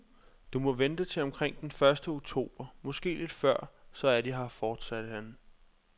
Du må vente til omkring den første oktober, måske lidt før, så er de her, fortsatte han.